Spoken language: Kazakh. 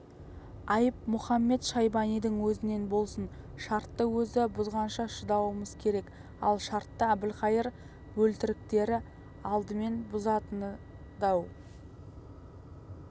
айып мұхамед-шайбанидың өзінен болсын шартты өзі бұзғанша шыдауымыз керек ал шартты әбілқайыр бөлтіріктері алдымен бұзатынына дау